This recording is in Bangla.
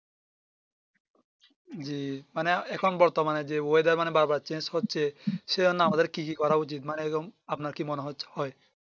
জি মানে এখন বর্তমানে যে oyedar মানে বার বার Change হচ্ছে সেই জন্য আমাদের কি কি করা উচিত মানে এইরকম আপনার কি মনে হয়